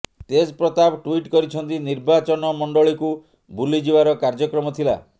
ତେଜ Pratap tweet କରିଛନ୍ତି ନିର୍ବାଚନ ମଣ୍ଡଳୀକୁ ବୁଲିଯିବାର କାର୍ଯ୍ୟକ୍ରମ ଥିଲା